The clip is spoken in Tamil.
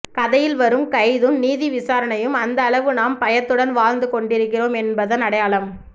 கதையில் வரும் கைதும் நீதி விசாரணையும் எந்த அளவு நாம் பயத்துடன் வாழ்ந்து கொண்டிருக்கிறோம் என்பதன் அடையாளம்